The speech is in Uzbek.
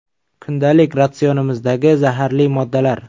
Kundalik ratsionimizdagi zaharli moddalar.